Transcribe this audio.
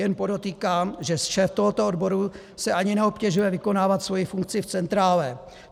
Jen podotýkám, že šéf tohoto odboru se ani neobtěžuje vykonávat svoji funkci v centrále.